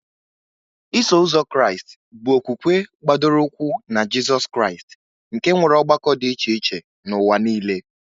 Iso Ụzọ Kraịst bụ okwukwe gbadoro ụkwụ na Jizọs Kraịst, nke nwere ọgbakọ dị iche iche n'ụwa nile.